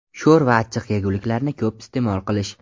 Sho‘r va achchiq yeguliklarni ko‘p iste’mol qilish.